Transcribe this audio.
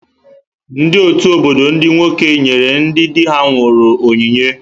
Ndị ọtù obodo ndị nwoke nyere ndị dị ha nwụrụ onyinye.